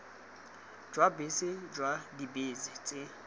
jwa bese jwa dibese tse